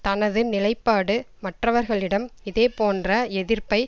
தனது நிலைப்பாடு மற்றவர்களிடம் இதே போன்ற எதிர்ப்பை